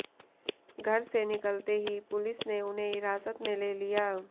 घर से निकलते ही पुलिस ने उन्हें हिरासत में ले लिया